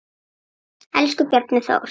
Elsku Bjarni Þór.